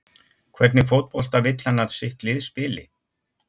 Hvernig fótbolta vill hann að sitt lið spili?